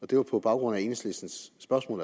det var på baggrund af enhedslistens spørgsmål